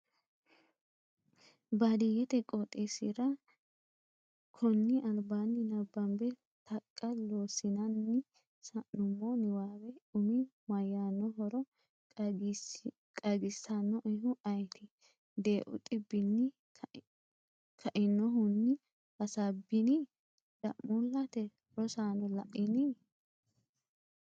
baadiyete qoxxesira, konni albaanni nabbambe Taqa Loossinanni sa’nummo niwaawe umi mayyaannohoro qaagisannoehu ayeeti? Deeu dhibbinni kainohunni Hasaabbini? da’muullate Rosaano la’inni?